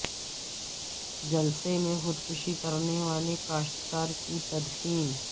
جلسے میں خودکشی کرنے والے کاشت کار کی تدفین